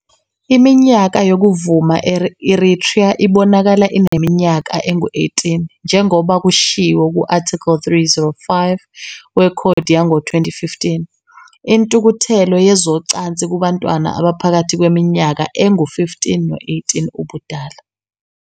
Iminyaka yokuvuma e-Eritrea ibonakala ineminyaka engu- 18, njengoba kushiwo ku-Article 305 wekhodi yango-2015, "Intukuthelo yezocansi kubantwana abaphakathi kweminyaka engu-15 no-18 ubudala".